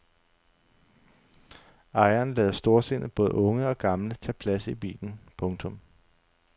Ejeren lader storsindet både unge og gamle tage plads i bilen. punktum